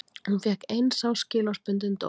Hún fékk eins árs skilorðsbundinn dóm